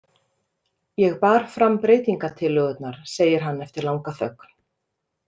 Ég bar fram breytingatillögurnar, segir hann eftir langa þögn.